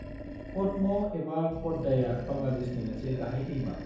पद्मा एबा प'द्दाया बांलादेशनि मोनसे गाहाय दैमा।